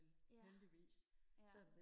ja ja